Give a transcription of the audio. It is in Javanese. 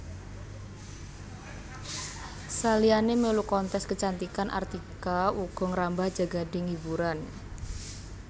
Saliyané mèlu kontes kecantikan Artika uga ngrambah jagading hiburan